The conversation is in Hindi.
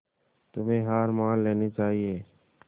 तुम्हें हार मान लेनी चाहियें